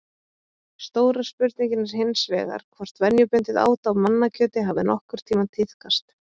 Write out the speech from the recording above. Stóra spurningin er hins vegar hvort venjubundið át á mannakjöti hafi nokkurn tímann tíðkast?